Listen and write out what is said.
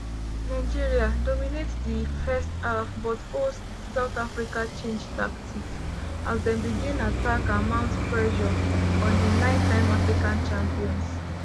nigeria dominate di first half but hosts south africa change tactics as dem begin attack and mount pressure on di nine-time african champions.